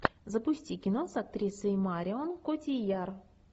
запусти кино с актрисой марион котийяр